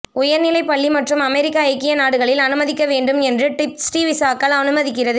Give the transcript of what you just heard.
உயர்நிலை பள்ளி மற்றும் அமெரிக்க ஐக்கிய நாடுகளில் அனுமதிக்க வேண்டும் என்று டிப்ஸ் டி விசாக்கள் அனுமதிக்கிறது